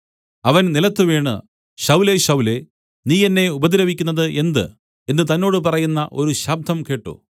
അവൻ നിലത്തുവീണു ശൌലേ ശൌലേ നീ എന്നെ ഉപദ്രവിക്കുന്നത് എന്ത് എന്ന് തന്നോട് പറയുന്ന ഒരു ശബ്ദം കേട്ട്